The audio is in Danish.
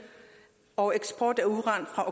og eksport af uran fra